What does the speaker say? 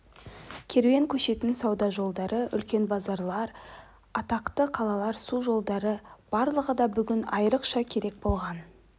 керуен көшетн сауда жолдары үлкен базарлар атақты қалалар су жолдары барлығы да бүгін айрықша керек болған